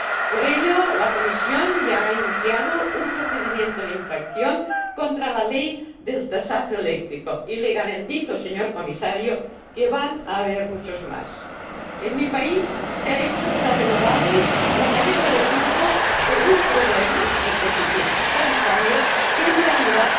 Por ello, la Comisión ya ha iniciado un procedimiento de infracción contra la ley del tasazo eléctrico y le garantizo, señor Comisario, que va a haber muchos más. En mi país se ha hecho de las renovables la cabeza de turco de un problema —el déficit tarifario— que en realidad